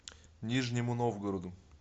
нижнему новгороду